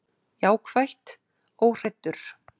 Jákvætt: Óhræddur.